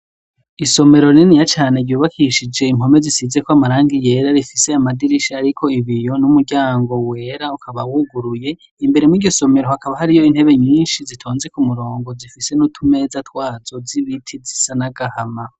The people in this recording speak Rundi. Isomero niniya cane, ryubakishije impome zisizeko amarangi yera, rifise amadirisha ariko ibiyo, n'umuryango wera, ukaba wuguruye. Imbere mw'iryo somero hakaba hariyo intebe nyinshi zitonze ku murongo, zifise n'utumeza twazo, z'ibiti zisa n'agahama.